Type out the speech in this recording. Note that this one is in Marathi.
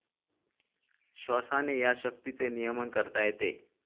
श्वासाने या शक्तीचे नियमन करता येते.